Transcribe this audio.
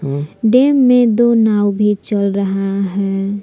Dam में दो नाव भी चल रहा है।